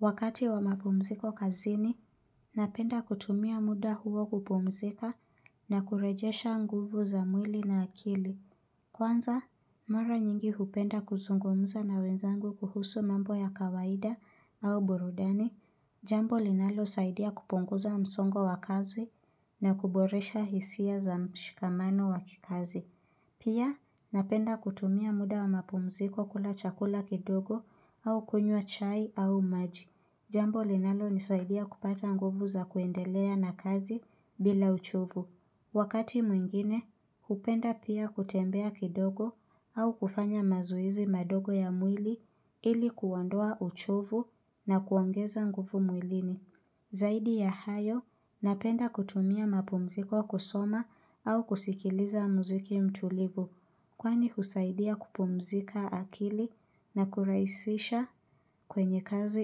Wakati wa mapumziko kazini, napenda kutumia muda huo kupumzika na kurejesha nguvu za mwili na akili. Kwanza, mara nyingi hupenda kuzungumza na wenzangu kuhusu mambo ya kawaida au burudani. Jambo linalosaidia kupunguza msongo wa kazi na kuboresha hisia za mshikamano wa kikazi. Pia, napenda kutumia muda wa mapumziko kula chakula kidogo au kunywa chai au maji. Jambo linalonisaidia kupata nguvu za kuendelea na kazi bila uchovu. Wakati mwingine, hupenda pia kutembea kidogo au kufanya mazoezi madogo ya mwili ili kuondoa uchovu na kuongeza nguvu mwilini. Zaidi ya hayo, napenda kutumia mapumziko kusoma au kusikiliza muziki mtulivu, kwani husaidia kupumzika akili na kurahisisha kwenye kazi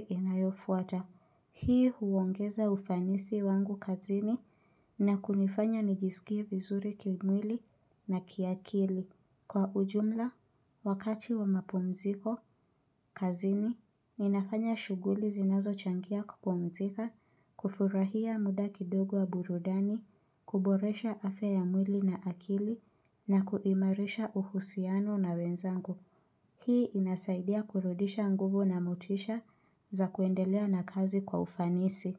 inayofuata. Hii huongeza ufanisi wangu kazini na kunifanya nijisikie vizuri kimwili na kiakili. Kwa ujumla, wakati wa mapumziko, kazini, ninafanya shughuli zinazochangia kupumzika, kufurahia muda kidogo wa burudani, kuboresha afya ya mwili na akili, na kuimarisha uhusiano na wenzangu. Hii inasaidia kurudisha nguvu na motisha za kuendelea na kazi kwa ufanisi.